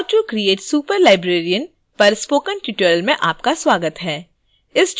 how to create a superlibrarian पर spoken tutorial में आपका स्वागत है